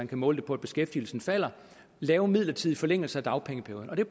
kan måles på at beskæftigelsen falder lave midlertidige forlængelser af dagpengeperioden det